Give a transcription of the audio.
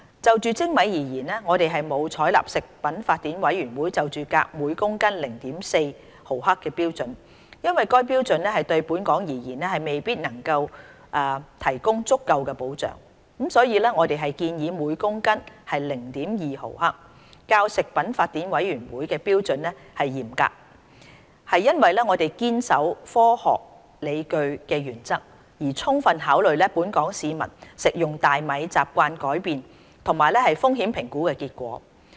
就精米而言，我們沒有採納食品法典委員會就鎘含量每公斤 0.4 毫克的標準，因為該標準對本港而言未必能提供足夠保障，所以我們建議每公斤 0.2 毫克，較食品法典委員會標準嚴格，是因為我們堅守科學理據的原則，充分考慮本港市民食用大米習慣的改變及風險評估結果。